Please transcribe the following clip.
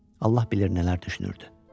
Allah bilirdi nələr düşünürdü.